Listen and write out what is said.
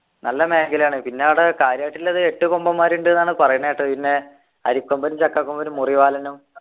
നല്ല മേഖലയാണ് പിന്നെ ആടെ കാര്യായിട്ടുള്ളത് എട്ട് കൊമ്പന്മാരാരുണ്ട് എന്നാണ് പറയുന്ന കേട്ടത് പിന്നെ അരിക്കൊമ്പൻ ചക്കകൊമ്പൻ മുറിവാലനും